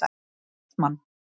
Kristmann